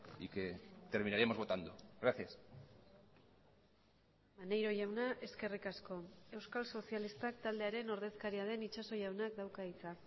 y que terminaremos votando gracias maneiro jauna eskerrik asko euskal sozialistak taldearen ordezkaria den itxaso jaunak dauka hitza